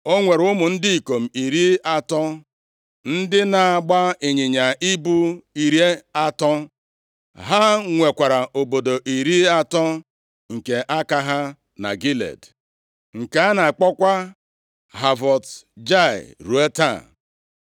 O nwere ụmụ ndị ikom iri atọ, ndị na-agba ịnyịnya ibu iri atọ. Ha nwekwara obodo iri atọ nke aka ha na Gilead, nke a na-akpọkwa Havọt Jaịa ruo taa.